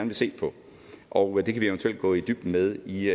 vil se på og det kan vi eventuelt gå i dybden med i